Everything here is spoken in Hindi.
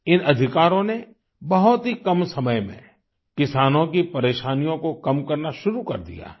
इन अधिकारों ने बहुत ही कम समय में किसानों की परेशानियों को कम करना शुरू कर दिया है